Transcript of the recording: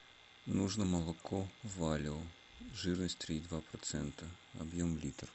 нужно молоко валио жирность три и два процента объем литр